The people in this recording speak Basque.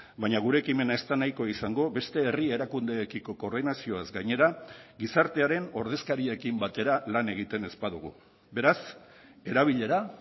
baina gure ekimena ez da nahikoa izango beste herri erakundeekiko koordinazioaz gainera gizartearen ordezkariekin batera lan egiten ez badugu beraz erabilera